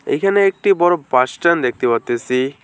এইখানে একটি বড়ো বাস স্ট্যান দেখতে পারতাসি।